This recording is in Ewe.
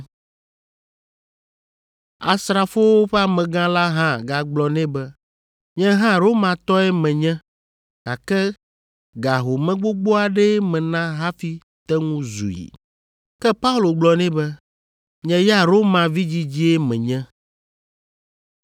Asrafowo ƒe amegã la hã gagblɔ nɛ be, “Nye hã Romatɔe menye, gake ga home gbogbo aɖee mena hafi te ŋu zui.” Ke Paulo gblɔ nɛ be, “Nye ya Roma vidzidzie menye.”